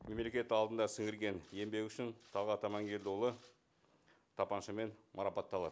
мемлекет алдында сіңірген еңбегі үшін талғат амангелдіұлы тапаншамен марапатталады